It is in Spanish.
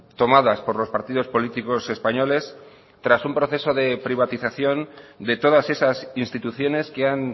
tomadas por los partidos políticos españoles tras un proceso de privatización de todas esas instituciones que han